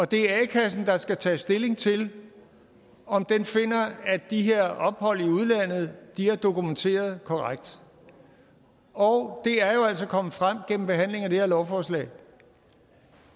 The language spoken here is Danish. det er a kassen der skal tage stilling til om den finder at de her ophold i udlandet er dokumenteret korrekt og det er jo altså kommet frem under behandlingen af det her lovforslag